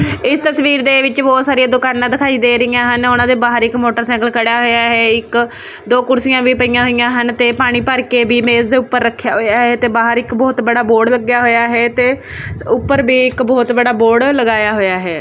ਇਸ ਤਸਵੀਰ ਦੇ ਵਿੱਚ ਬਹੁਤ ਸਾਰੀਆਂ ਦੁਕਾਨਾਂ ਦਿਖਾਈ ਦੇ ਰਹੀਆਂ ਹਨ ਉਹਨਾਂ ਦੇ ਬਾਹਰ ਇੱਕ ਮੋਟਰਸਾਈਕਲ ਖੜਾ ਹੋਇਆ ਇੱਕ ਦੋ ਕੁਰਸੀਆਂ ਵੀ ਪਈਆਂ ਹੋਈਆਂ ਹਨ ਤੇ ਪਾਣੀ ਭਰ ਕੇ ਵੀ ਇਸ ਦੇ ਉੱਪਰ ਰੱਖਿਆ ਹੋਇਆ ਤੇ ਬਾਹਰ ਇੱਕ ਬਹੁਤ ਬੜਾ ਬੋਡ ਲੱਗਿਆ ਹੋਇਆ ਹੈ ਤੇ ਉੱਪਰ ਵੀ ਇੱਕ ਬਹੁਤ ਵੱਡਾ ਬੋਰਡ ਲਗਾਇਆ ਹੋਇਆ ਹੈ।